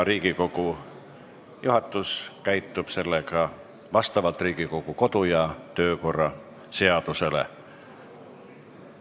Riigikogu juhatus käitub sellega vastavalt Riigikogu kodu- ja töökorra seadusele.